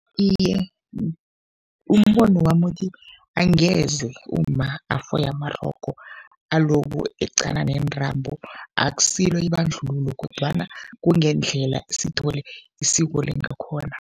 Iye, umbono wami uthi angeze umma afoye amarogo aloku eqana neentambo. Akusilo ibandlululo kodwana kungendlela sithole isiko lingakhona.